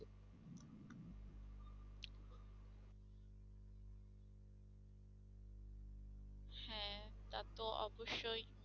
হ্যাঁ তা তো অবশ্যই